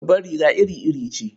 Babbar riga iri-iri ce.